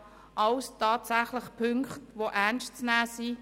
Das sind alles tatsächlich Punkte, die ernst zu nehmen sind.